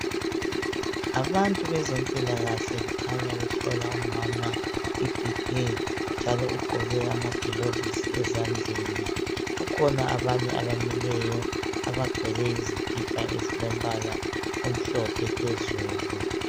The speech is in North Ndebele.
Abantu bezempilakahle kukhanya behlola umama iBP., njalo ugqoke amagilovisi ezandleni. Kukhona abanye abamileyo. Abagqoke izikipa, ezilombala omhlophe phezulu.